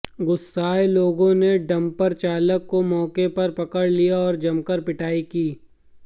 गुस्साए लोगों ने डंपर चालक को मौके पर पकड़ लिया और जमकर पिटाई की